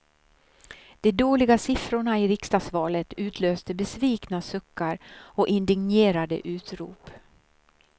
De dåliga siffrorna i riksdagsvalet utlöste besvikna suckar och indignerade utrop.